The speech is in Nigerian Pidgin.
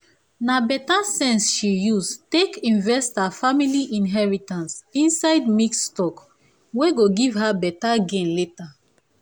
na better sense she use take invest her family inheritance inside mixed stock wey go give her better gain later.